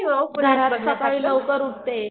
घरात सकाळी लवकर उठते.